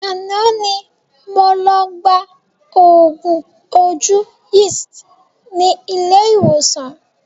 Àná ni mo lọ gba oògùn ojú Yeast ni ilé ìwòsàn